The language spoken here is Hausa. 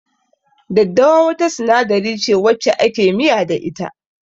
Daddawa wata sinadari ce wacce ake miya da ita.